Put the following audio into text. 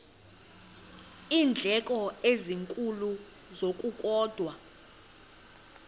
iindleko ezinkulu ngokukodwa